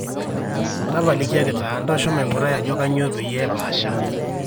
tapalikiaki taa ntosho maigurai ajo kainyoo peyie epaasha